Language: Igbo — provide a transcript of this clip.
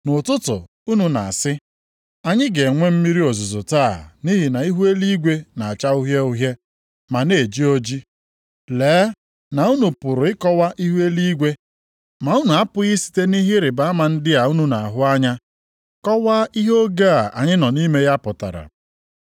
Nʼụtụtụ unu na-asị, ‘Anyị ga-enwe mmiri ozuzo taa nʼihi na ihu eluigwe na-acha uhie uhie ma na-eji oji.’ Lee na unu pụrụ ịkọwa ihu eluigwe, ma unu apụghị isite nʼihe ịrịbama ndị a unu na-ahụ anya kọwaa ihe oge a anyị nọ nʼime ya pụtara.